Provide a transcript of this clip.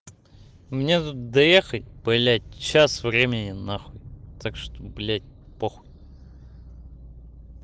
у меня тут доехать блядь час времени нахуй так что блядь похуй